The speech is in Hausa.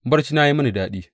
Barcina ya yi mini daɗi.